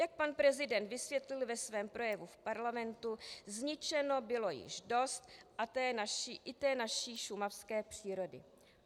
Jak pan prezident vysvětlil ve svém projevu v parlamentu, zničeno bylo již dost i té naší šumavské přírody.